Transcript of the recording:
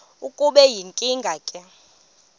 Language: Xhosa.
kube yinkinge ke